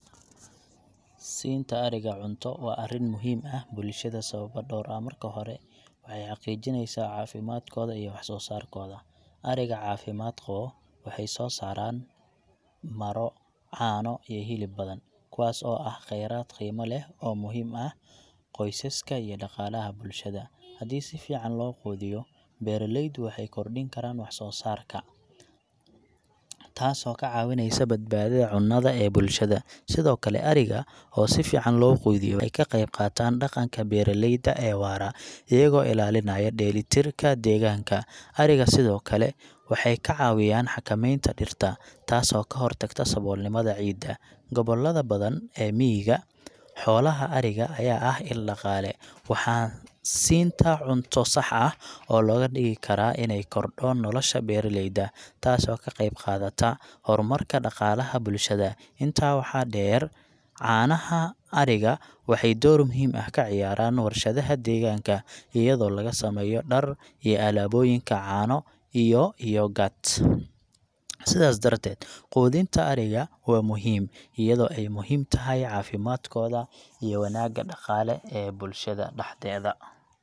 Siinta ariga cunto waa arrin muhiim ah bulshada sababo dhowr ah. Marka hore, waxay xaqiijineysaa caafimaadkooda iyo wax soo saarkooda. Ariga caafimaad qabo waxay soo saaraan maro, caano, iyo hilib badan, kuwaas oo ah kheyraad qiimo leh oo muhiim ah qoysaska iyo dhaqaalaha bulshada. Haddii si fiican loo quudiyo, beeraleydu waxay kordhin karaan wax soo saarka, taasoo ka caawinaysa badbaadada cunnada ee bulshada. Sidoo kale, ariga oo si fiican loo quudiyo waxay ka qayb qaataan dhaqanka beeraleyda ee waara, iyagoo ilaalinaya dheelitirka deegaanka. Ariga sidoo kale waxay ka caawiyaan xakameynta dhirta, taasoo ka hortagta saboolnimada ciidda. Gobollada badan ee miyiga, xoolaha ariga ayaa ah il dhaqaale, waxaa siinta cunto sax ah looga dhigi karaa inay korodho nolasha beeraleyda, taasoo ka qayb qaadata horumarka dhaqaalaha bulshada. Intaa waxaa dheer, caanaha ariga waxay door muhiim ah ka ciyaaraan warshadaha deegaanka, iyadoo laga sameeyo dhar iyo alaabooyinka caano iyo yogurt. Sidaas darteed, quudinta ariga waa muhiim, iyadoo ay muhiim tahay caafimaadkooda iyo wanaagga dhaqaale ee bulshada dhaxdeeda.